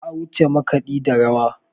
Ba a wuce makaɗi da rawa.